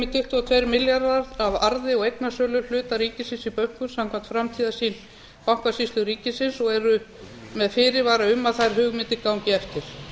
tuttugu og tveir milljarðar af arði og eignasölu hluta ríkisins í bönkum samkvæmt framtíðarsýn bankasýslu ríkisins og eru með fyrirvara um að þær hugmyndir gangi eftir